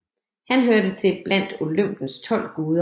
Han hørte til blandt Olympens tolv guder